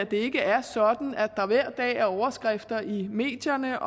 det ikke er sådan at der hver dag er overskrifter i medierne